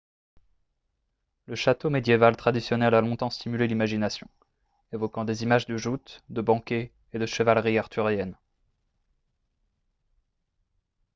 le château médiéval traditionnel a longtemps stimulé l'imagination évoquant des images de joutes de banquets et de chevalerie arthurienne